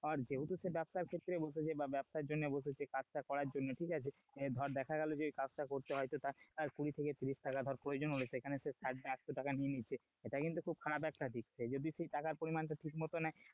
যেহেতু সে ব্যবসার ক্ষেত্রে বসেছে, বা ব্যবসার জন্য বসেছে কাজটা করার জন্য ঠিক আছে, ধর দেখা গেলো যে কাজটা করতে হয়তো তার কুড়ি থেকে তিরিশ টাকা ধর প্রয়োজন হচ্ছে সেখানে সে একশো টাকা নিয়ে নিচ্ছে, সেটা কিন্তু খুব খারাপ একটা দিক সে যদি সে টাকার পরিমাণ টাকা ঠিকমতো নেয়,